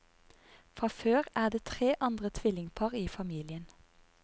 Fra før er det tre andre tvillingpar i familien.